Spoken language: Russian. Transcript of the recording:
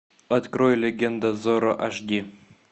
открой легенда зорро аш ди